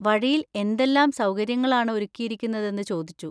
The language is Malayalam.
വഴിയിൽ എന്തെല്ലാം സൗകര്യങ്ങളാണ് ഒരുക്കിയിരിക്കുന്നതെന്ന് ചോദിച്ചു.